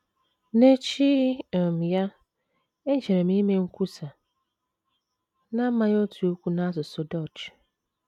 N’echi um ya, ejere m ime nkwusa n’amaghị otu okwu n’asụsụ Dutch.